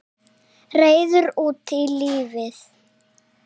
Reiður út í lífið.